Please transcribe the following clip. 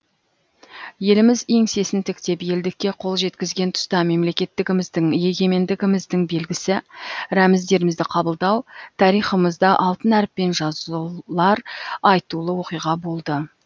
еліміз еңсесін тіктеп елдікке қол жеткізген тұста мемлекеттігіміздің егемендігіміздің белгісі рәміздерімізді қабылдау тарихымызда алтын әріппен жазылар айтулы оқиға болды